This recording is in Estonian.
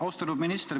Austatud minister!